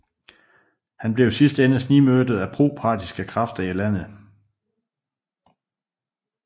Han blev i sidste ende snigmyrdet af proparthiske krafter i landet